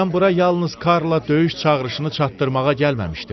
Mən bura yalnız Karla döyüş çağırışını çatdırmağa gəlməmişdim.